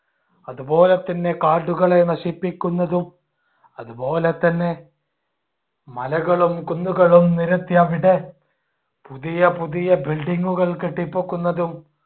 അതുപോലെതന്നെ കാടുകളെ നശിപ്പിക്കുന്നതും അതുപോലെതന്നെ മലകളും കുന്നുകളും നിരത്തി അവിടെ പുതിയ പുതിയ building കൾ കെട്ടിപൊക്കുന്നതും